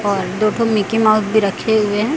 और दो ठो मिकी माउस भी रखे हुए हैं।